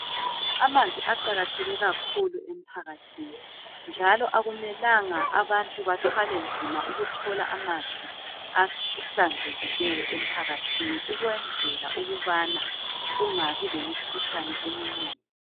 Amanzi aqakatheke kakhulu emphakathini njalo akumelanga abantu bathwale nzima ukuthola amanzi ahlanzekileyo emphakathini ukwenzela ukubana kungabi lemikhuhlane eminengi.